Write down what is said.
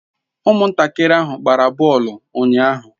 Umuntakiri ahu gbara boolu unyahu